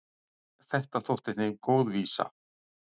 Þetta þótti þeim góð vísa.